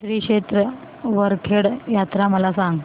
श्री क्षेत्र वरखेड यात्रा मला सांग